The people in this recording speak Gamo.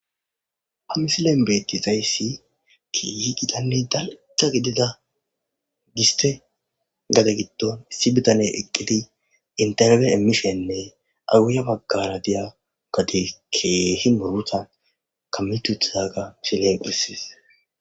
Hamisilen betti zayssi kiyi gidanne dalta gedida giste gade giddon issi bitane eqqidi interbe emmishenne awuya baggara diya gade keehi murutan kammituthaga shiledhisis.